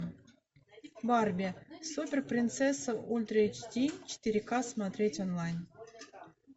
барби супер принцесса ультра эйч ди четыре ка смотреть онлайн